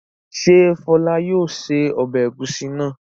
Ṣé Fọlá yóò se ọbẹ̀ ẹ̀gúsí náà?